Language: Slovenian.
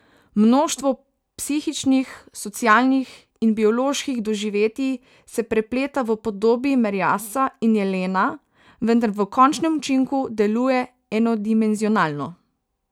Mnoštvo psihičnih, socialnih in bioloških doživetij se prepleta v podobi merjasca in jelena, vendar v končnem učinku deluje enodimenzionalno.